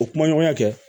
O kuma ɲɔgɔnya kɛ